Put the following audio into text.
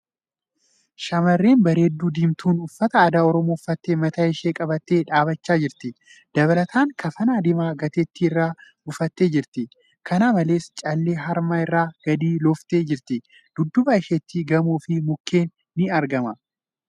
Shamarreen bareedduu diimtuun uffata aadaa Oromoo uffattee mataa ishee qabattee dhaabbachaa jirti. Dabalataan kafana diimaa gateettii irra buufattee jirti. Kana malees, callee harma irraan gadi looftee jirti. Dudduuba isheetti gamoo fi mukkeen ni argama.